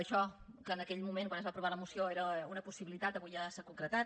això que en aquell moment quan es va aprovar la moció era una possibilitat avui ja s’ha concretat